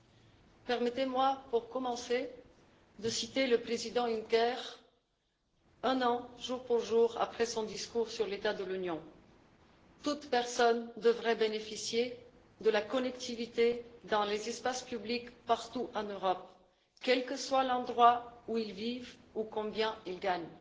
Pour commencer, permettez moi de citer le président Juncker, un an jour pour jour après son discours sur l'état de l'Union toute personne devrait bénéficier de la connectivité dans les espaces publics partout en Europe, quel que soit l'endroit où elle vit ou combien elle gagne.